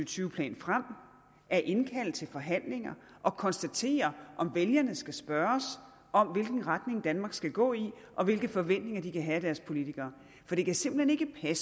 tyve plan frem at indkalde til forhandlinger og konstatere om vælgerne skal spørges om hvilken retning danmark skal gå i og hvilke forventninger de kan have til deres politikere det kan simpelt hen